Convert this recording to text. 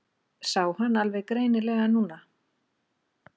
Sá hann alveg greinilega núna.